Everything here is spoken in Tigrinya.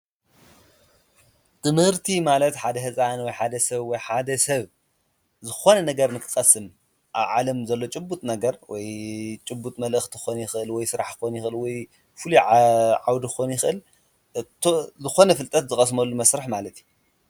ትምህርቲ ማለት ሓደ ህፃን ወይ ሓደ ሰብ ዝኮነ ነገር ንክቀስም ኣብ ዓለም ዘሎ ጭቡጥ ነገር ወይ ጭቡጥ መልእክቲ ክኮን ይክእል ወይ ስራሕ ክኮን ይክእል ወይ ፉሉይ ዓውዲ ክኮን ይክእል ዝኮነ ፍልጠት ዝቀስመሉ መስርሕ ማለት እዩ፡፡